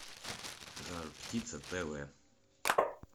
жар птица тв